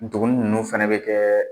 Ntuguni ninnu fana bɛ kɛ